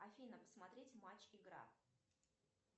афина посмотреть матч игра